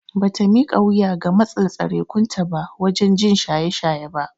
Bata mika wuya ga matsin tsarekunta ba waje jin shaye shaye ba.